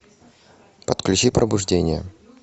отключи пробуждение